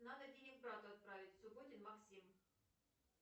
надо денег брату отправить субботин максим